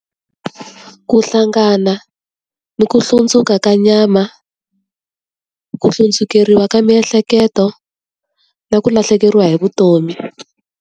Ku hlangana ni ku hlundzuka ka nyama, ku hlundzukeriwa ka miehleketo, na ku lahlekeriwa hi vutomi.